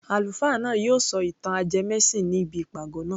Àlùfáà náà yóò sọ ìtàn ajẹmẹ́sìn ní ibi ìpàgọ́ naa